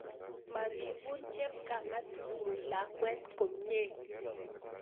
Moribun chepkamatu'nguk lakwet komie